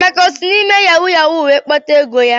Emeka esi na-ịme yahu yahu wee kpata ego ya?